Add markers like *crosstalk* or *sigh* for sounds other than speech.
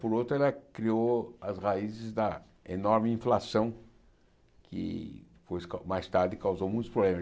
Por outro, ela criou as raízes da enorme inflação, que foi *unintelligible* mais tarde causou muitos problemas.